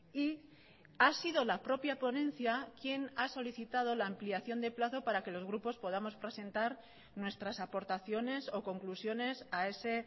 y ha sido la propia ponencia quien ha solicitado la ampliación de plazo para que los grupos podamos presentar nuestras aportaciones o conclusiones a ese